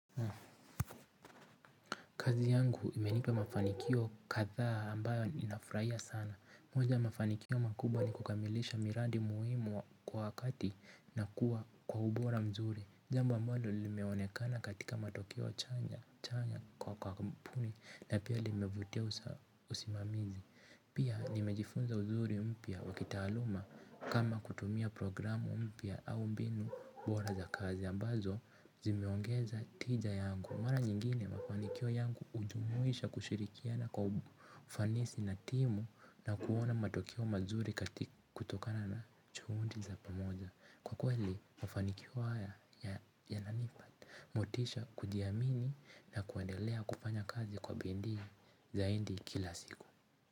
Kazi yangu imenipa mafanikio kadha ambayo ninafurahia sana. Moja ya mafanikio makubwa ni kukamilisha miradi muhimu kwa wakati na kuwa kwa ubora mzuri. Jambo ambalo limeonekana katika matokeo chanya chanya kwa kampuni na pia limevutia usimamizi. Pia nimejifunza uzuri mpya wakitaaluma kama kutumia programu mpya au mbinu bora za kazi ambazo zimeongeza tija yangu. Mara nyingine mafanikio yangu hujumuisha kushirikiana kwa ufanisi na timu na kuona matokeo mazuri katika kutokana na juhudi za pamoja. Kwa kweli mafanikio haya yananipa motisha kujiamini na kuendelea kufanya kazi kwa bidii zaidi kila siku.